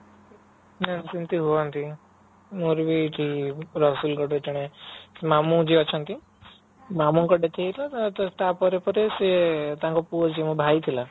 ହଁ ସେମିତି ହୁଅନ୍ତି ମୋର ବି ରସୁଲଗଡ ରେ ଜଣେ ମାମୁ ଯିଏ ଅଛନ୍ତି ମାମୁ ଙ୍କ death ହେଇଯାଇଥିଲା ତ ତାପରେ ପରେ ତାଙ୍କ ପୁଅ ଯିଏ ମୋ ଭାଇ ଥିଲା